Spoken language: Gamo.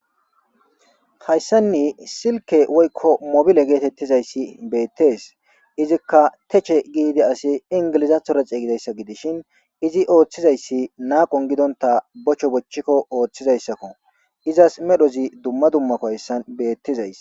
hayssanni silke woykko mobile geetettizayssi beettes izikka teche giidi asi ingilizathora xeygidayssa gidishin izi ooththizayssi naaqon gidonta bocho bochchikko ooththizayssakko izas medhozi dumma dummako hayssan beettizays